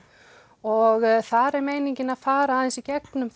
og þar er meiningin að fara aðeins í gegnum